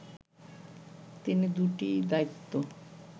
তিনি দুইটি দায়িত্ব